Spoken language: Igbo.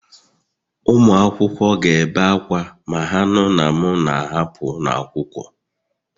Ụmụ akwụkwọ ga-ebe akwa ma ha nụ na m na-ahapụ ụlọ akwụkwọ